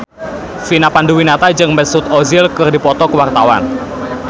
Vina Panduwinata jeung Mesut Ozil keur dipoto ku wartawan